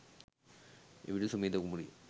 එවිට සුමේධා කුමරිය